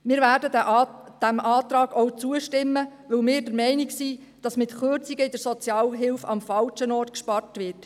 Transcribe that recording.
Wir werden dem Antrag auch zustimmen, weil wir der Meinung sind, dass mit Kürzungen bei der Sozialhilfe am falschen Ort gespart wird.